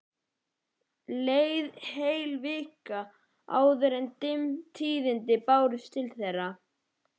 Leið heil vika áður en dimm tíðindin bárust til þeirra.